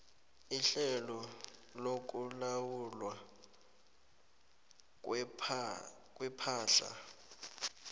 ihlelo lokulawulwa kwepahla